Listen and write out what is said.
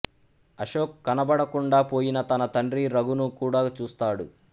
అశోక్ కనపడకుండా పోయిన తన తండ్రి రఘును కూడా చూస్తాడు